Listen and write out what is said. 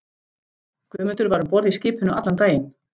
Guðmundur var um borð í skipinu allan daginn.